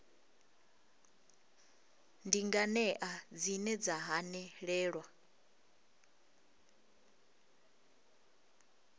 ndi nganea dzine dza hanelelwa